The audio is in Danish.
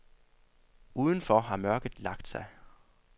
Uden for har mørket lagt sig.